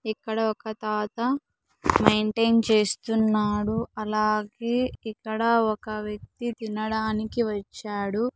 ఇక్కడ ఒక తాత మెయింటైన్ చేస్తున్నాడు అలాగే ఇక్కడ ఒక వ్యక్తి తినడానికి వచ్చాడు.